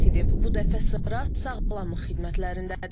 Bu dəfə sıra sağlamlıq xidmətlərindədir.